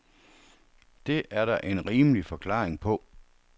Det er der en rimelig forklaring på.